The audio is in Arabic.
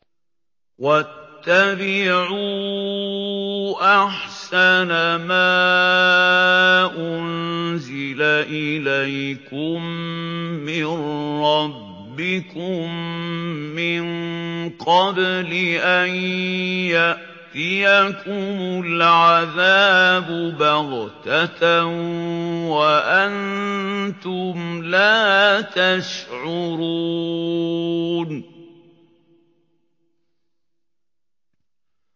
وَاتَّبِعُوا أَحْسَنَ مَا أُنزِلَ إِلَيْكُم مِّن رَّبِّكُم مِّن قَبْلِ أَن يَأْتِيَكُمُ الْعَذَابُ بَغْتَةً وَأَنتُمْ لَا تَشْعُرُونَ